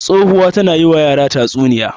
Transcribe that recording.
Tsohuwa tana yi wa yara tatsunniya.